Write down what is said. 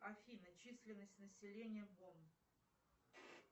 афина численность населения бон